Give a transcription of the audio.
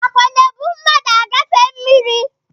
ákwà na-ebu mmadụ agafe mmiri ya